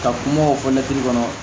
Ka kumaw fɔ mɛtiri kɔnɔ